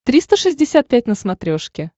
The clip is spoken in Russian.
триста шестьдесят пять на смотрешке